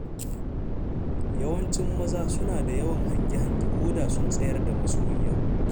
Yawancin maza suna da yawan hange-hange, ko da sun tsayar da masoyiya,